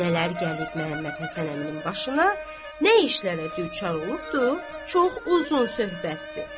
Nələr gəlib Məhəmməd Həsən əminin başına, nə işlərə düçar olubdu, çox uzun söhbətdir.